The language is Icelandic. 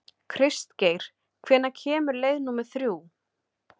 Kristgeir, hvenær kemur leið númer þrjú?